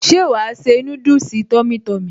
Ṣé wàá se núdùsì tummy tummy?